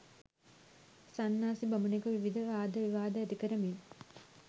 සන්නාසි බමුණෙකු විවිධ වාද විවාද ඇති කරමින්